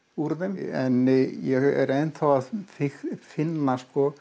úr þeim en ég er enn að finna